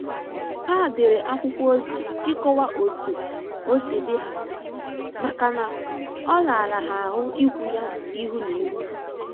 Ha dere akwụkwọ ozi ịkọwa otu osi dị ha maka na ọ rara ha ahụ ikwu ya ihu na ihu